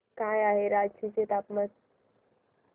काय आहे रांची चे तापमान